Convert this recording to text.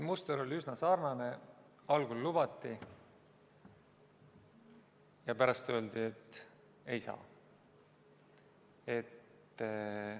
Muster oli üsna sarnane: algul lubati ja pärast öeldi, et ei saa.